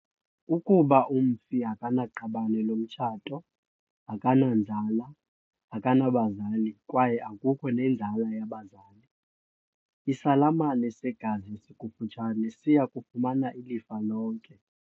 Ukuba umfi akanaqabane lomtshato, akananzala, akanabazali kwaye akukho nenzala yabazali, isalamane segazi esikufutshane siya kufumana ilifa lonke.